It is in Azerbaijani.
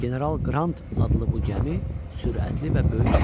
General Qrant adlı bu gəmi sürətli və böyük idi.